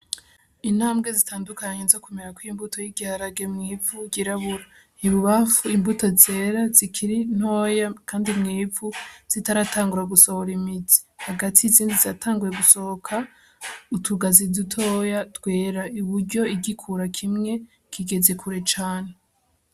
Intambwe zitandukanye zo kumera kw imbuto y'igiharage mw'ifu girabura ntibubafu imbuto zera zikiri ntoya, kandi mw'ifu zitaratangura gusohora imizi hagati izindi zatanguwe gusohoka utugazi dutoya dwera i buryo igikura kimwe kigeze kure cane.